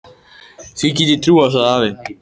Því get ég trúað, sagði afi.